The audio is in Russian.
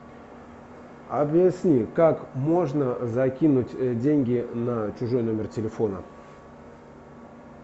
объясни как можно закинуть деньги на чужой номер телефона